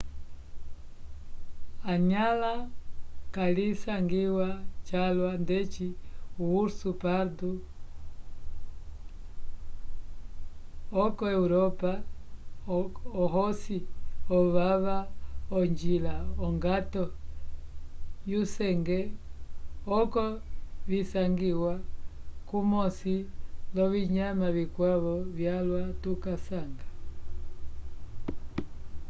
enyãla kalisangiwa calwa ndeci o urso pardo yoko europa ohosi ovava onjila ongato yusenge oko visangiwa kumosi l'ovinyama vikwavo vyalwa tukasanga